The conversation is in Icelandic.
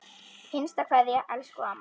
HINSTA KVEÐJA Elsku amma.